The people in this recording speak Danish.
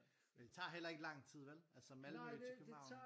Men det tager heller ikke lang tid vel? Altså Malmø til København